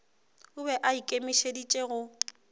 o be a ikemišeditše go